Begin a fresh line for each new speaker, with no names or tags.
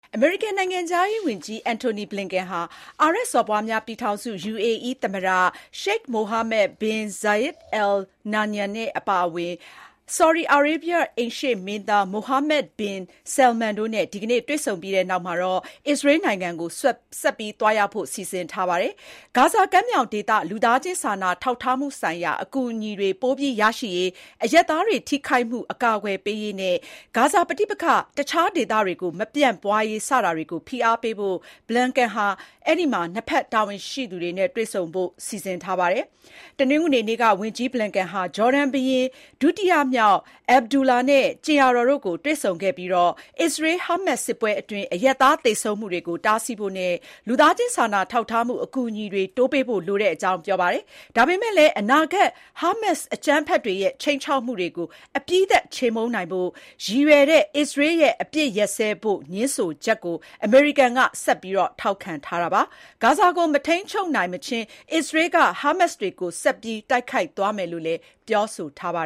အမေရိကန်နိုင်ငံခြားရေးဝန်ကြီး Antony Blinken ဟာ အာရပ်စော်ဘွားများ ပြည်ထောင်စု UAE သမ္မတ Sheikh Mohammed bin Zayed Al Nahyan အပါအဝင် ဆော်ဒီအာရေဗျ အိမ်ရှေ့မင်းသား Mohammed bin Salman တို့နဲ့ ဒီကနေ့ တွေ့ဆုံပြီးနောက် အစ္စရေးနိုင်ငံကို ဆက်ပြီး သွားရောက်ဖို့ စီစဉ်ထားပါတယ်။ ဂါဇာကမ်းမြောင်ဒေသ လူသားချင်းစာနာထောက်ထားမှုဆိုင်ရာ အကူအညီတွေပိုပြီးရရှိရေး၊ အရပ်သားတွေထိခိုက်မှု အကာအကွယ်ပေးရေးနဲ့ ဂါဇာပဋိပက္ခ တခြားဒေသတွေကို မပြန့်ပွါးရေး စတာတွေကို ဖိအားပေးဖို့ Blinken ဟာ နှစ်ဖက် တာဝန်ရှိသူတွေနဲ့ ဆွေးနွေးဖို့ရှိပါတယ်။ တနင်္ဂနွေနေ့က ဝန်ကြီး Blinken ဟာ ဂျော်ဒန်ဘုရင်ဒုတိယမြောက် Abdullah နဲ့ ကြင်ယာတော်တို့ကိုတွေ့ဆုံခဲ့ပြီး အစ္စရေး-ဟာမတ်စ် စစ်ပွဲအတွင်းအရပ်သားသေဆုံးမှုတွေကို တားဆီးဖို့နဲ့ လူသားချင်းစာနာထောက်ထားမှု အကူအညီတွေ တိုးပေးဖို့ လိုတဲ့အကြောင်း ပြောပါတယ်။ ဒါပေမဲ့လည်း အနာဂတ် ဟာမတ်စ်အကြမ်းဖက်တွေရဲ့ ခြိမ်းခြောက်မှုတွေကို အပြီးသတ်ချေမှုန်းနိုင်ဖို့ ရည်ရွယ်တဲ့ အစ္စရေးရဲ့ အပစ်ရပ်စဲဖို့ ငြင်းဆိုချက်ကို အမေရိကန်က ဆက်ပြီးထောက်ခံထားပါတယ်။ ဂါဇာကို မထိန်းချုပ်နိုင်မချင်း အစ္စရေးက ဟာမတ်စ်တွေကို ဆက်ပြီး တိုက်ခိုက်သွားမယ်လို့ ပြောဆိုထားတာပါ